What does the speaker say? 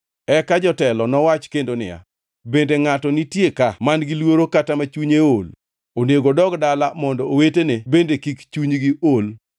Eka jotelo nowach kendo niya, “Bende ngʼato nitie ka man-gi luoro kata ma chunye ool? Onego odog dala mondo owetene bende kik chunygi ool.”